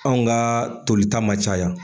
Anw ka tolita ma caya.